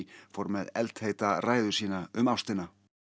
fór með eldheita ræðu sína um ástina